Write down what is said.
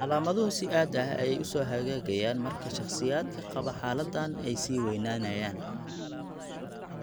Calaamaduhu si aad ah ayey u soo hagaagayaan marka shakhsiyaadka qaba xaaladdan ay sii weynaanayaan.